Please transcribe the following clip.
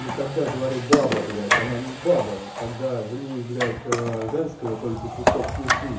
ну когда говорю баба блять она не баба когда в ней блять женского только кусок пизды